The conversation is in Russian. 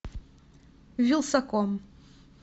вилсаком